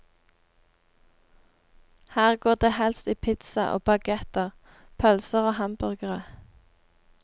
Her går det helst i pizza og baguetter, pølser og hamburgere.